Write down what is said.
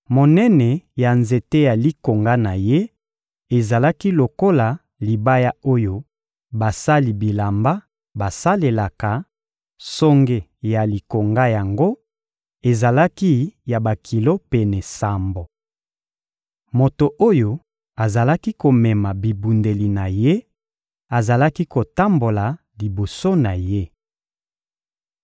Monene ya nzete ya likonga na ye ezalaki lokola libaya oyo basali bilamba basalelaka; songe ya likonga yango ezalaki ya bakilo pene sambo. Moto oyo azalaki komema bibundeli na ye azalaki kotambola liboso na ye.